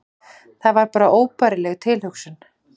Það var bara óbærileg tilhugsun.